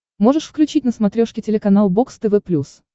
можешь включить на смотрешке телеканал бокс тв плюс